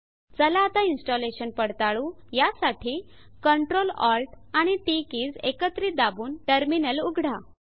चला आता इन्स्टलेशन पडताळू यासाठी Ctrl Alt आणि टीटी किज एकत्रित दाबून टर्मिनल उघडा